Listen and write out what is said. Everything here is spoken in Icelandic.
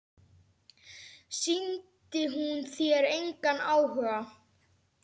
Sýndi hún þér engan áhuga?